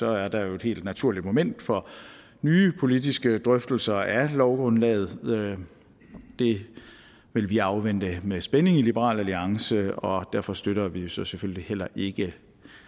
er der jo et helt naturligt moment for nye politiske drøftelser af lovgrundlaget det vil vi afvente med spænding i liberal alliance og derfor støtter vi jo så selvfølgelig heller ikke